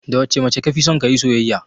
Da wacce mace kafison kayi soyayya?